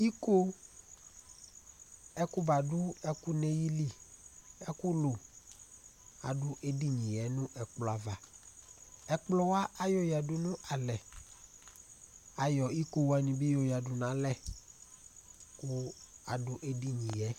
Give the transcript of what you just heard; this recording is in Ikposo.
Iko ekʋ badu' ɛkʋ nʋ ayìlí, ɛkʋ lu adu edini ye nʋ ɛkplɔ ava Ɛkplɔ wa ayɔ yadu nʋ alɛ Ayɔ iko wani bi yɔ yadu nʋ alɛ kʋ adu edini ye